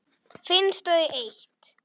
Finnst þau eitt.